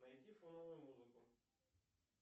найди фоновую музыку